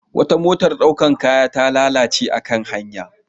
Wata motar ɗaukan kaya ta lalace a kan hanya.